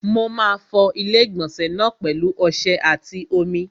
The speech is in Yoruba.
Mo máa fọ ilé-ìgbọ̀nsẹ̀ náà pẹ̀lu ọsẹ àti omi.